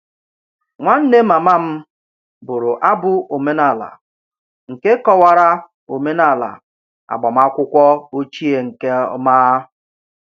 Nwanne mama m bụrụ abụ omenala nke kọwara omenala agbamakwụkwọ ochie nke ọma